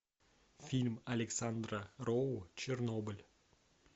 фильм александра роу чернобыль